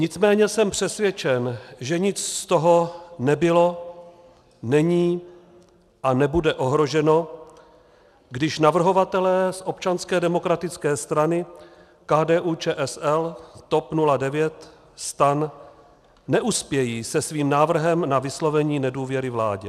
Nicméně jsem přesvědčen, že nic z toho nebylo, není a nebude ohroženo, když navrhovatelé z Občanské demokratické strany, KDU-ČSL, TOP 09, STAN neuspějí se svým návrhem na vyslovení nedůvěry vládě.